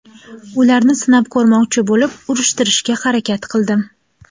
Ularni sinab ko‘rmoqchi bo‘lib, urishtirishga harakat qildim.